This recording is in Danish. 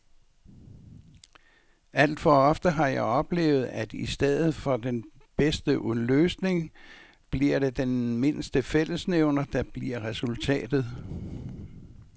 Alt for ofte har jeg oplevet, at i stedet for den bedste løsning bliver det den mindste fællesnævner, der bliver resultatet.